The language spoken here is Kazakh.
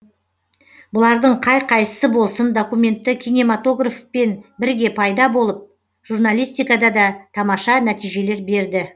бұлардың қай қайсысы болсын документті кинематографпен бірге пайда болып журналистикада да тамаша нәтижелер берді